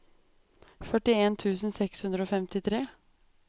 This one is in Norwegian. førtien tusen seks hundre og femtitre